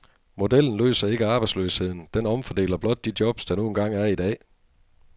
Modellen løser ikke arbejdsløsheden, den omfordeler blot de jobs der nu engang er i dag.